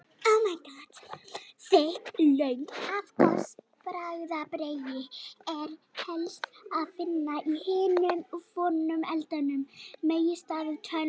Útvarpsbylgjur eru framkallaðar í náttúrunni af eldingum og stjarnfræðilegum fyrirbærum, svo sem stjörnum og vetrarbrautum.